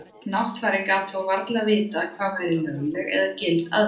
Náttfari gat þó varla vitað hvað væri lögleg eða gild aðferð.